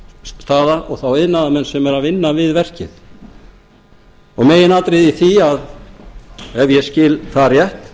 staða og þá iðnaðarmenn sem eru að vinna við verkið meginatriðið í því ef ég skil það rétt